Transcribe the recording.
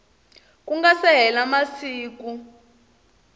ku nga si hela masiku